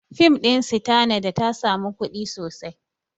Fim ɗin Sitanada ta sami kuɗi sosai